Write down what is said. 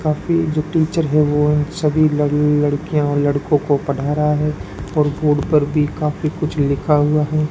काफी जो टीचर हैं वो सभी लड़ लड़कियां और लड़कों को पढ़ा रहा है और बोर्ड पर भी काफी कुछ लिखा हुआ है।